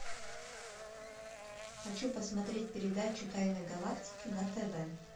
хочу посмотреть передачу тайны галактики на тв